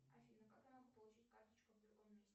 афина как я могу получить карточку в другом месте